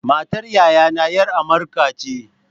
Matar yayana ’yar amurka ce.